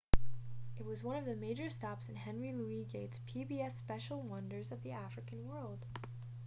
it was one of the major stops during henry louis gates' pbs special wonders of the african world